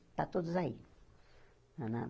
Está todos aí, na na